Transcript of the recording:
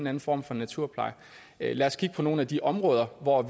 anden form for naturpleje lad os kigge på nogle af de områder hvor